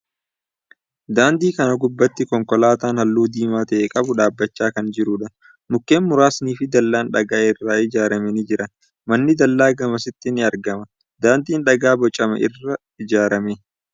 Daandii kana gubbaatti konkolaatan halluu diimaa ta'e qabu dhaabbachaa kan jiruudha. Mukkeen muraasni fi dallaan dhagaa irraa ijaarame ni jira. Manni dallaa gamasitti ni argama. Daandin dhagaa bocame irraa ijaarame.